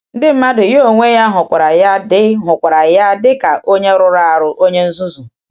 Ndị mmadụ ya onwe ha hụkwara ya dị hụkwara ya dị ka “onye rụrụ arụ, onye nzuzu.”